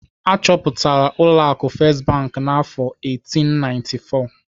Achọpụtara ụlọ akụ First Bank n'afọ 1894.